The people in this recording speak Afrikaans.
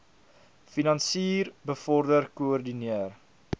finansier bevorder koördineer